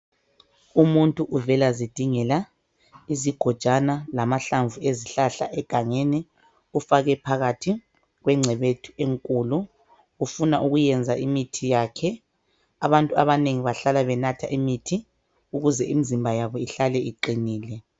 Umuntu uvela zidingela izigojana lamahlamvu ezihlahla egangeni ufake phakathi kwencebethu enkulu ufuna ukuyenza imithi yakhe abantu abanengi bahlala benatha imithi ukuze imizimba yabo ihlale iqinile.